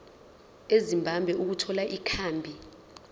ezimbabwe ukuthola ikhambi